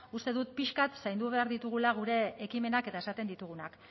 uste dut pixka bat zaindu behar ditugula gure ekimenak eta esaten ditugunak